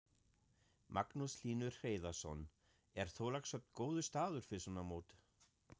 Magnús Hlynur Hreiðarsson: Er Þorlákshöfn góður staður fyrir svona mót?